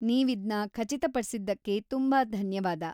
ನೀವಿದ್ನ ಖಚಿತಪಡ್ಸಿದ್ದಕ್ಕೆ ತುಂಬಾ ಧನ್ಯವಾದ.